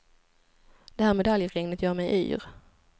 Det här medaljregnet gör mig yr.